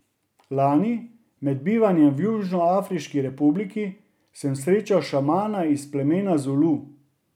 Lani, med bivanjem v Južnoafriški republiki, sem srečal šamana iz plemena Zulu.